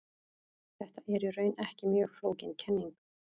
Þetta er í raun ekki mjög flókin kenning.